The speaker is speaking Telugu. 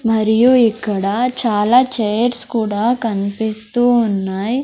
మరియు ఇక్కడ చాలా చైర్స్ కూడా కన్పిస్తూ ఉన్నాయ్.